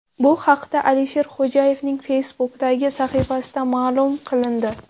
Bu haqda Alisher Xo‘jayevning Facebook’dagi sahifasida ma’lum qilindi .